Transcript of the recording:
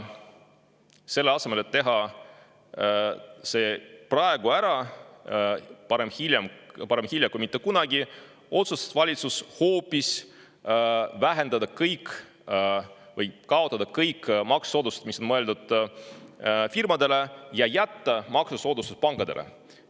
Selle asemel, et teha see praegu ära, sest parem hilja kui mitte kunagi, otsustas valitsus hoopis kaotada kõik maksusoodustused, mis on mõeldud firmadele, ja jätta alles maksusoodustused pankadele.